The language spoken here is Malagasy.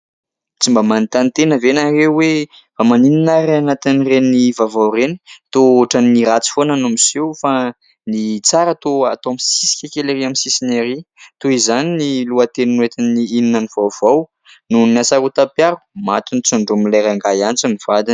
Tsy mba manontany tena ve ianareo hoe : fa maninona ary any anatin'ireny vaovao ireny, toa ohatrany ny ratsy foana no miseho fa ny tsara toa atao misisika kely ery amin'ny sisiny ery? Toa izany ny lohateny noetin'ny "inona ny vaovao" : nohon'ny asarotam-piaro, maty notsondromin'ilay rangahy antsy ny vadiny.